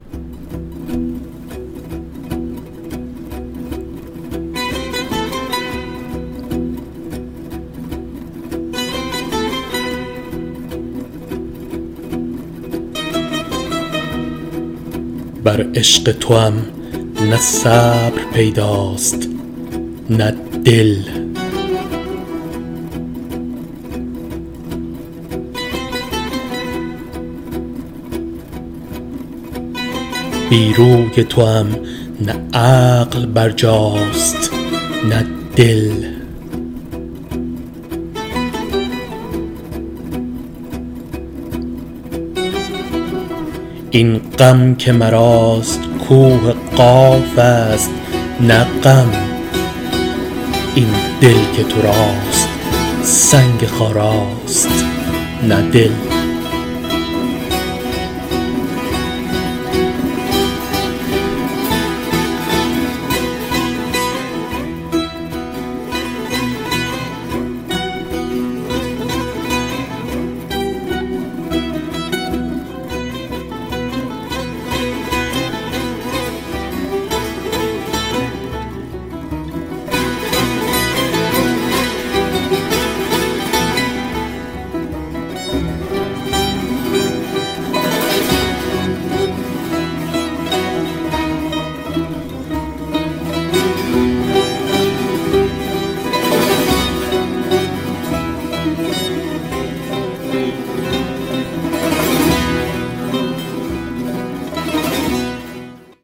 بر عشق توام نه صبر پیداست نه دل بی روی توام نه عقل بر جاست نه دل این غم که مراست کوه قاف است نه غم آن دل که تو راست سنگ خاراست نه دل